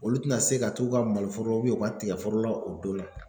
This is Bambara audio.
Olu tɛna se ka t'u ka maloforo u ka tigɛforo la o donna.